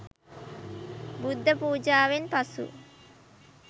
බුද්ධ පුජාවෙන් පසු